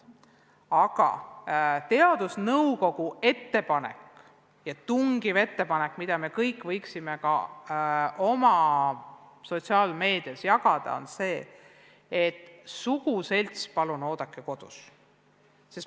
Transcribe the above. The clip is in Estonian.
Aga teadusnõukogu tungiv ettepanek, mida me kõik võiksime ka oma sotsiaalmeedias jagada, on see, et suguselts palun oodaku kodus.